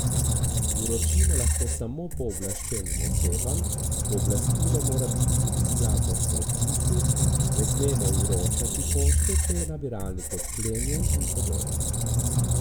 Vročimo lahko samo pooblaščenim osebam, pooblastilo mora tudi biti skladno s predpisi, ne smemo vročati pošte, če je nabiralnik odklenjen in podobno.